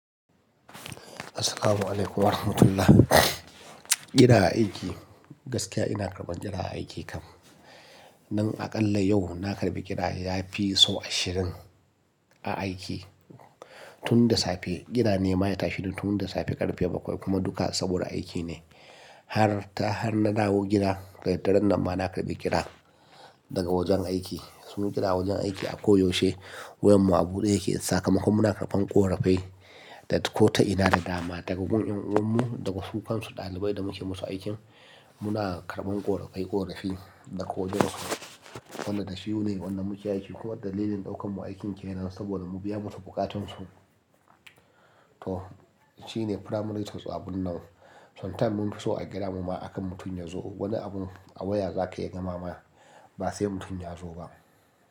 Assalamualaikum warahmatullah. Kira aiki, gaskiya ina karban kira aiki kam. Nan aƙalla yau na karɓi kira yafi sau ashirin a aiki. Tun da safe, kira nema ya tashi tun da safe ƙarfe bakwai kuma duka saboda aiki ne. Har ta, har na dawo gida, da daren nan ma na karɓi kira daga wajen aiki. Sun kira wajen aiki akoyaushe. Wayar mu abude yake sakamakon muna karɓan ƙorafai. Da ko ta ina da dama, daga gurin ƴan'uwan mu, daga su kansu ɗalibai da muke musu aikin, muna karɓan ƙorafai ƙorafi da ko wane lokaci. Wannan da shi ne wannan muke aiki ko wadande dalilin ɗaukan mu aikin kenan saboda mu biya musu bukatun su. To, shine primary terms of abun nan. Sometimes mun fi so a kira mu ma akan mutum yazo. Wani abun a waya zaka iya gama ma ba sai mutum ya zo ba.